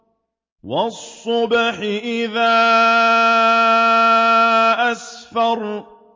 وَالصُّبْحِ إِذَا أَسْفَرَ